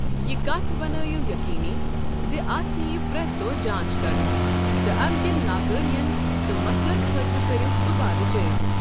یہِ کتھ بنٲیِو یقینی زِ اتھ یِیہِ پرٛٮ۪تھ دۄہ جانٛچ کرنہٕ۔ تہٕ امہِ کٮ۪ن ناکارۍیَن تہٕ مسلن خٲطرٕ کٔرِو دُبارٕ جٲیزٕ۔